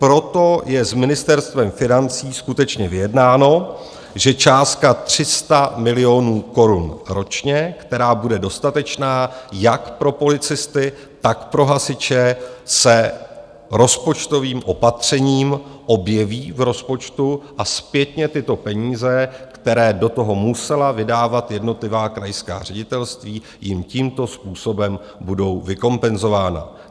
Proto je s Ministerstvem financí skutečně vyjednáno, že částka 300 milionů korun ročně, která bude dostatečná jak pro policisty, tak pro hasiče, se rozpočtovým opatřením objeví v rozpočtu a zpětně tyto peníze, které do toho musela vydávat jednotlivá krajská ředitelství, jim tímto způsobem budou vykompenzována.